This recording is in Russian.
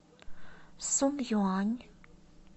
сунъюань